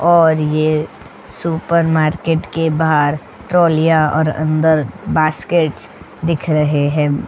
और ये सुपरमार्केट के बाहर ट्रॉलियां और अंदर बास्केट्स दिख रहे हैं.